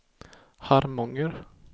Harmånger